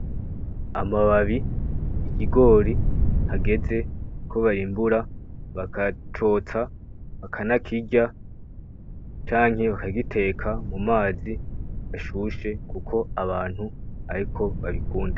Amababi ikigori hageze ko bimbura, bakacotsa bakanakirya, canke bakagiteka mumazi ashushe kuko abantu ariko babikunda.